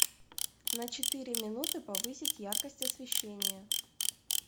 на четыре минуты повысить яркость освещения